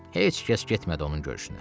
Heç kəs getmədi onun görüşünə.